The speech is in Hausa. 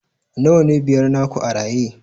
nawa ne biyar naku a raye